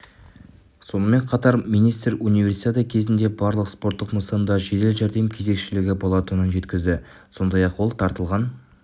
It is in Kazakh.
сонымен қатар министр универсиада кезінде барлық спорттық нысанда жедел жәрдем кезекшілігі болатынын жеткізді сондай-ақ ол тартылғын